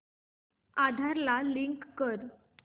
आधार ला लिंक कर